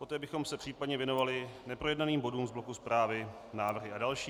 Poté bychom se případně věnovali neprojednaným bodům v bloku zprávy, návrhy a další.